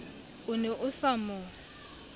o ne o sa mo